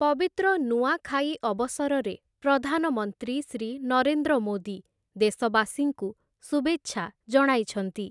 ପବିତ୍ର ନୂଆଁଖାଇ ଅବସରରେ ପ୍ରଧାନମନ୍ତ୍ରୀ ଶ୍ରୀ ନରେନ୍ଦ୍ର ମୋଦୀ ଦେଶବାସୀଙ୍କୁ ଶୁଭେଚ୍ଛା ଜଣାଇଛନ୍ତି ।